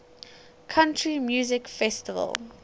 country music festival